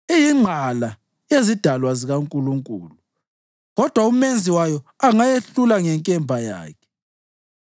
Iyingqala yezidalwa zikaNkulunkulu, kodwa uMenzi wayo angayehlula ngenkemba yakhe.